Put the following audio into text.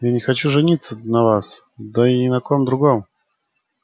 я не хочу жениться на вас да и ни на ком другом